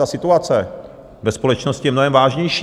Ta situace ve společnosti je mnohem vážnější.